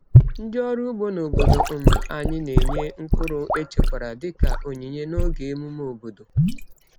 Ndị ọrụ ugbo n’obodo um anyị na-enye mkpụrụ echekwara dị ka onyinye n’oge emume obodo.